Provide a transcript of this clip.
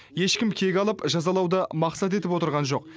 ешкім кек алып жазалауды мақсат етіп отырған жоқ